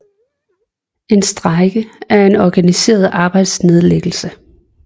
En strejke er en organiseret arbejdsnedlæggelse